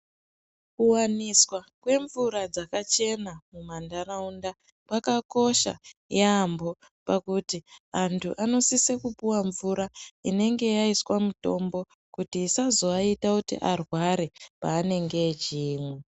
Kuwaniswa kwemvura dzakachena mumantaraunda kwakakosha yambo pakuti antu anosisa kupuwa mvura inonge yaiswa mutombo kuti isazoaita kuti arware paanenge echiimwa.